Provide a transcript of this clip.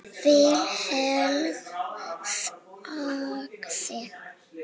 Vilhelm þagði.